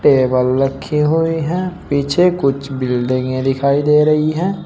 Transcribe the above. Table रखी हुई है पीछे कुछ बिल्डिंगे दिखाई दे रही है।